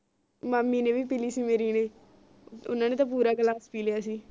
ਮਾਮੀ ਨੀ ਵੀ ਪੀ ਲਾਇ ਸੀ ਮੇਰੀ ਨੇ ਓਹਨਾ ਨੇ ਤਾ ਪੂਰਾ ਗਿਲਾਸ ਪੀ ਲਿਆ ਸੀ